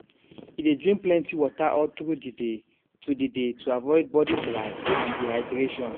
e dey drink plenty water all through the day to the day to avoid body dry and dehydration